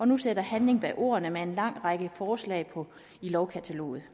nu sætter handling bag ordene med en lang række forslag i lovkataloget